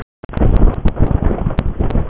En geðsjúklingurinn var að biðja um fyrirgefningu.